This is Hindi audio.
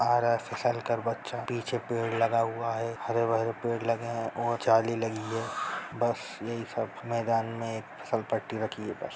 आ रहा है फिसल कर बच्चा पीछे पेड़ लगा हुआ है हरे-भरे पेड़ लगे हैं और जाली लगी है बस यही सब मैदान में एक फिसल पट्टी लगी है बस।